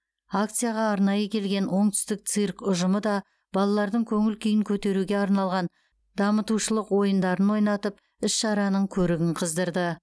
акцияға арнайы келген оңтүстік цирк ұжымы да балалардың көңіл күйін көтеруге арналған дамытушылық ойындарын ойнатып іс шараның көркін қыздырды